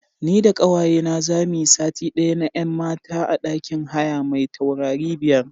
Ni da ƙawayena za mu yi sati ɗaya na 'yan mata a ɗakin haya mai taurari biyar.